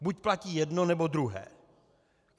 Buď platí jedno, nebo druhé.